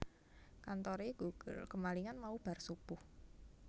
Kantore GoGirl kemalingan mau bar subuh